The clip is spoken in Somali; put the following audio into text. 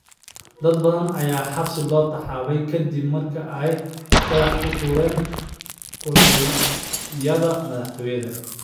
Dad kala duwan ayaa xabsiga loo taxaabay ka dib markii ay dhagax ku tuuren kolonyada madaxtooyada.